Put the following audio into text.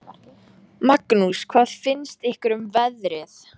Magnús: Hvað finnst ykkur um veðrið?